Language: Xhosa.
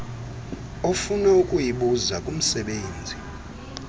ofuna ukuyibuza kumsebenzi